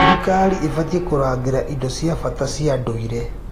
Thirikari ĩbatiĩ kũrangĩra indo cia bata cia ndũire.